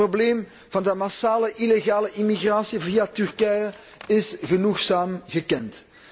Het probleem van de massale illegale immigratie via Turkije is genoegzaam bekend.